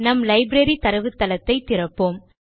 நம் லைப்ரரி தரவுத்தளத்தை திறப்போம்